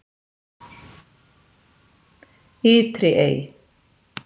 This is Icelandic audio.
Ytri Ey